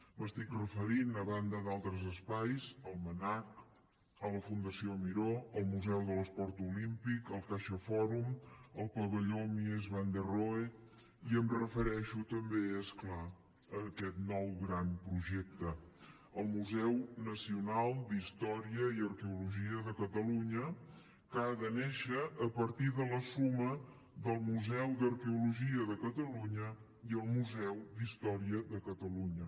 m’estic referint a banda d’altres espais al mnac la fundació miró el museu de l’esport olímpic el caixafòrum el pavelló mies van der rohe i em refereixo també és clar a aquest nou gran projecte el museu nacional d’història i arqueologia de catalunya que ha de néixer a partir de la suma del museu d’arqueologia de catalunya i el museu d’història de catalunya